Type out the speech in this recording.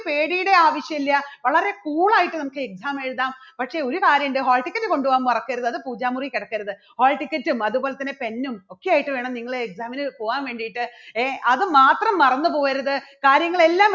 പേടിയുടെ ആവശ്യല്ലാ. വളരെ cool ആയിട്ട് നമുക്ക് exam എഴുതാം. പക്ഷേ ഒരു കാര്യണ്ട് hall ticket കൊണ്ടുപോവാൻ മറക്കരുത് അത് പൂജ മുറിയിൽ കിടക്കരുത് hall ticket ഉം അതുപോലെ തന്നെ pen ഉം ഒക്കെ ആയിട്ട് വേണം നിങ്ങൾ exam ന് പോവാൻ വേണ്ടിയിട്ട്, ഏ അതുമാത്രം മറന്നു പോകരുത് കാര്യങ്ങളെല്ലാം